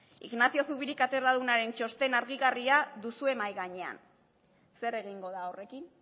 ignacio zubiri katedradunaren txosten argigarria duzue mahai gainean zer egingo da horrekin